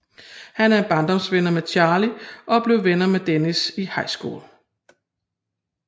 Han er bardomsvenner med Charlie og blev venner med Dennis i high school